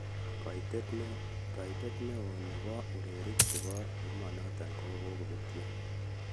Kaitet ne o ne bo urerik che bo emonotok kikobetyo!